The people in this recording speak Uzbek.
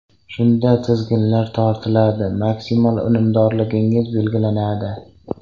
Shunda tizginlar tortiladi, maksimal unumdorligingiz belgilanadi.